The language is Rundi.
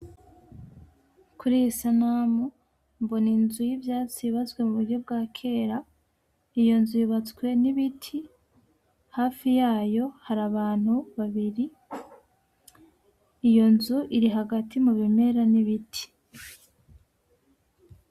Kuri iyi sanamu mbona inzu y’ivyatsi y’ubatse muburyo bwa kera, iyo nzu yubatswe n’ibiti hafi yayo hari abantu babiri ,iyo nzu iri hagati mu biimera n’ibiti.